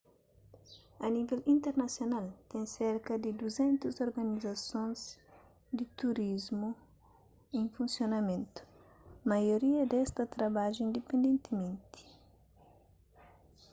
a nível internasional ten serka di 200 organizasons di turismu en funsionamentu maioria des ta trabadja indipendentimenti